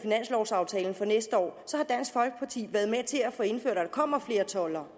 med finanslovaftalen for næste år har dansk folkeparti været med til at få indført at der kommer flere toldere